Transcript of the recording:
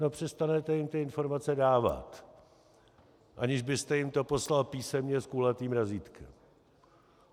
No přestanete jim ty informace dávat, aniž byste jim to poslal písemně s kulatým razítkem.